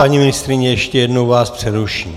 Paní ministryně, ještě jednou vás přeruším.